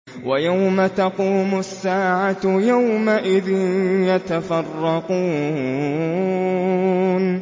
وَيَوْمَ تَقُومُ السَّاعَةُ يَوْمَئِذٍ يَتَفَرَّقُونَ